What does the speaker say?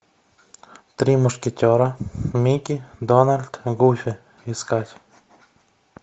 три мушкетера микки дональд гуффи искать